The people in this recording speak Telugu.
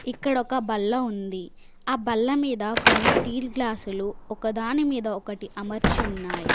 ఇక్కడ ఒక బల్ల ఉంది. ఆ బల్ల మీద కొన్ని స్టీల్ గ్లాసులు ఒకదాని మీద ఒకటి అమర్చి ఉన్నాయి.